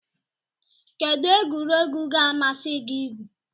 Kedu egwuregwu ga-amasị gị igwu?